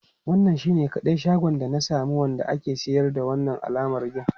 Wannan shine kadai shagon da na sani wanda ke siyar da wannan alamar gin.